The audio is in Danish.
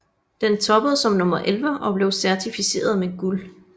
Den toppede som nummer 11 og blev certificeret med guld